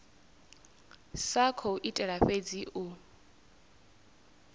sa khou itela fhedzi u